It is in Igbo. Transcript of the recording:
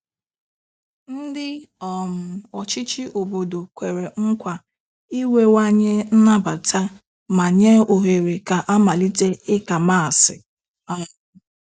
Ndị um ọchịchị obodo kwere nkwa inwewanye nnabata ma nye ohere ka amalite ịka Maasị um